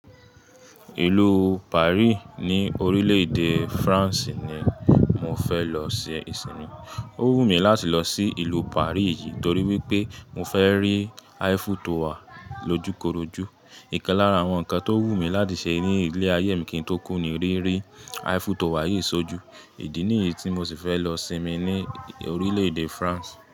Ìlú Paris ní orílè èdè France ni mo fẹ́ lọ ṣe ìsinmi. Ó wù mí láti lọ sí ìlú Paris yìí torí wípé mo fẹ́ rí Eiffel Tower lójúkorojú. Ìkan lára àwọn ǹkan tó wù mí láti ṣe ní ilé ayé mi kì í tó kù ni rí rí Eiffel Tower yìí ṣojú. Ìdí nìyí tí mo sì fẹ́ lọ sinmi ní orílè èdè France.